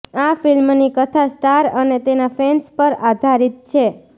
આ ફિલ્મની કથા સ્ટાર અને તેના ફેન્સ પર આધારિત છે